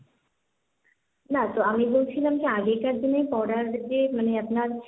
না, তো আমি বলছিলাম যে আগেকার দিনের পড়ার যে মানে আপনার,